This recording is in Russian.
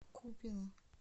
купино